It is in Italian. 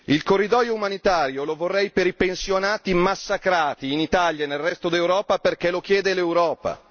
Il corridoio umanitario lo vorrei per i pensionati massacrati in Italia e nel resto d'Europa perché lo chiede l'Europa.